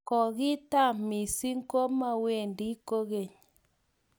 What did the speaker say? kokitam mising komawendi kokeny